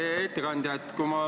Hea ettekandja!